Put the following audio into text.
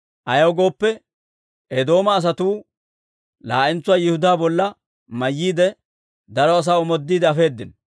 Ayaw gooppe, Eedooma asatuu laa'entsuwaa Yihudaa bolla mayyiide, daro asaa omoodiide afeedino.